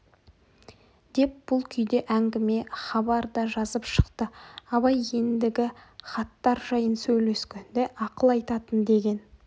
деп бұл күйде әңгіме хабар да жазып шықты абай ендігі хаттар жайын сөйлескенде ақыл айтатын деген